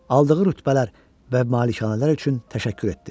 Aldığı rütbələr və malikanələr üçün təşəkkür etdi.